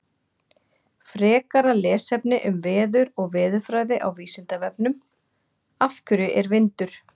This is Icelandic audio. Frekara lesefni um veður og veðurfræði á Vísindavefnum: Af hverju er vindur?